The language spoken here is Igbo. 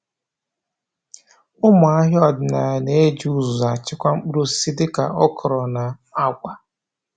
Ụmụ ahịa ọdịnala na-eji uzuzu achịkwa mkpụrụ osisi dị ka okra na agwa.